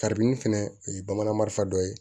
Kari ni fɛnɛ o ye bamananfa dɔ ye